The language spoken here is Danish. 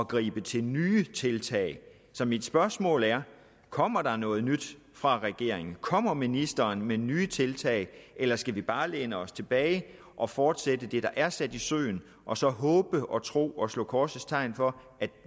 gribe til nye tiltag så mit spørgsmål er kommer der noget nyt fra regeringens side kommer ministeren med nye tiltag eller skal vi bare læne os tilbage og fortsætte det der er sat i søen og så håbe og tro og slå korsets tegn for at